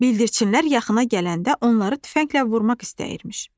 Bildirçinlər yaxına gələndə onları tüfənglə vurmaq istəyirmiş.